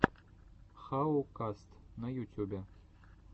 хау каст на ютюбе